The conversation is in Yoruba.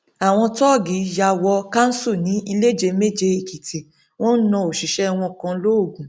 àwọn tóògì yà wò kánṣu ní iléjeméjeèkìtì wọn náà òṣìṣẹ wọn kan lóògùn